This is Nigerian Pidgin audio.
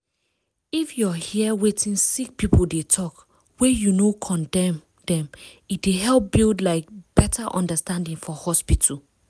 if your hear wetin sick people dey talk wey you no condemn dem e dey help build like better understanding for hospital